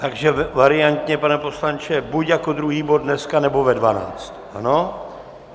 Takže variantně, pane poslanče, buď jako druhý bod dneska, nebo ve 12, ano?